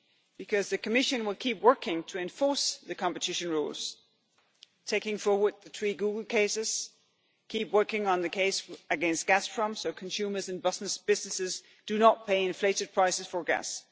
Because the Commission will keep working to enforce the competition rules, taking forward the three Google cases and continuing to work on the case against Gazprom so consumers and businesses do not pay inflated prices for gas.